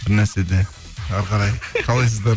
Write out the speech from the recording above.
бірнәрсе де әрі қарай қалайсыздар